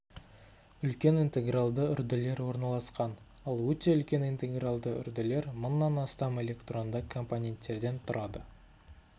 үлкен интегралды үрділер орналасқан ал өте үлкен интегралды үрділер мыңнан астам электронды компоненттерден тұрады